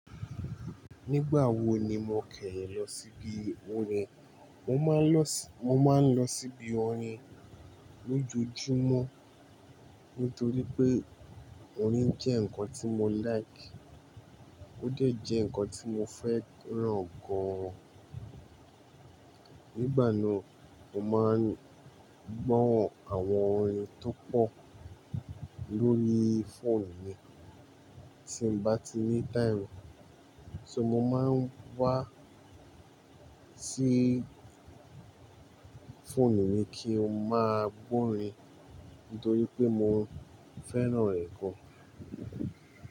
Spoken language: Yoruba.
Nígbà wo ni mo kẹ́yin lọ síbi orin? Mo máa ń lọ sí, mo máa ń lọ síbi orin lójoojúmọ́ nítorí pé orin jẹ́ ǹkan tí mo like, ó dẹ̀ jẹ́ ǹkan tí mo fẹ́ràn gan-an. Nígbà náà, mo máa ń gbọ́nran àwọn orin tó pọ̀ lórí phone mi. Tí mo bá ti ní time, ṣé mo máa ń wá sí phone mi kí n máa gbórin nítorí pé mo fẹ́ràn rẹ̀ gan-an.